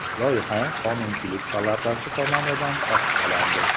Loyiha Qonunchilik palatasi tomonidan tasdiqlandi.